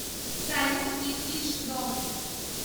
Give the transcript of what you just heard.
салют инглиш дом